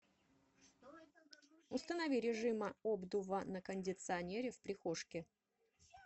установи режима обдува на кондиционере в прихожке